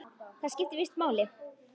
Það skipti víst máli.